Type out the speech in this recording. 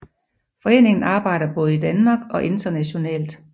Foreningen arbejder både i Danmark og internationalt